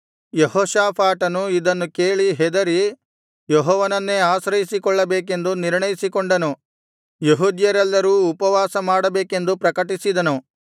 ಯೆಹೋಷಾಫಾಟನು ಇದನ್ನು ಕೇಳಿ ಹೆದರಿ ಯೆಹೋವನನ್ನೇ ಆಶ್ರಯಿಸಿಕೊಳ್ಳಬೇಕೆಂದು ನಿರ್ಣಯಿಸಿಕೊಂಡನು ಯೆಹೂದ್ಯರೆಲ್ಲರೂ ಉಪವಾಸ ಮಾಡಬೇಕೆಂದು ಪ್ರಕಟಿಸಿದನು